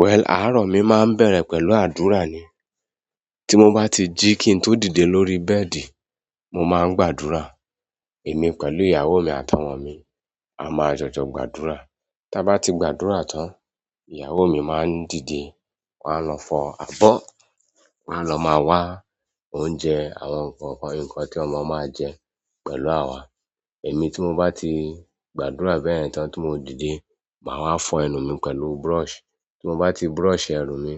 Well, àárọ̀ mi máa ń bẹ̀rẹ̀ pẹ̀lú àdúrà ni. Tí mo bá ti jí kí n tó dìde lórí bẹ́ẹ̀dì, mo máa ń gbàdúrà. Èmi pẹ̀lú ìyàwó mi àtàwọn ọmọ mi, a máa jọjọ gbàdúrà. Ta ba ti gbàdúrà tan, ìyàwó maa n dide wọn a lọ fọ abọ wọn a lọ maa wa oúnjẹ àwọn nǹkan ti ọmọ maa jẹ pẹ̀lú awa. Èmi tí mo bá ti gbàdúrà bẹ́yẹn tán tí mo dìde, màá wá fọ ẹnu mi pẹ̀lú brush. Tí mo bá ti brush ẹrù mi,